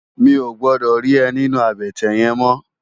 Mi ó gbòdò ri è ninú àbètè yèn mò